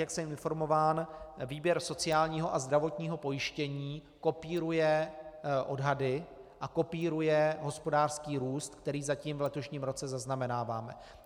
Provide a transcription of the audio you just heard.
Jak jsem informován, výběr sociálního a zdravotního pojištění kopíruje odhady a kopíruje hospodářský růst, který zatím v letošním roce zaznamenáváme.